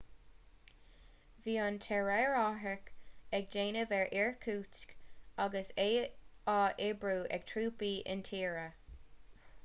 bhí an t-aerárthach ag déanamh ar irkutsk agus é á oibriú ag trúpaí intíre